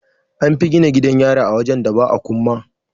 An fi gina gidan yari a wajen da ba akumma.